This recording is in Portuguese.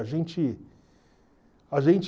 A gente... A gente...